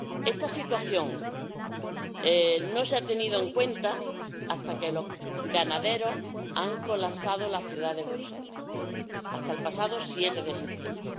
Esta situación no se ha tenido en cuenta hasta que los ganaderos no han colapsado la ciudad de Bruselas, es decir, hasta el pasado 7 de septiembre.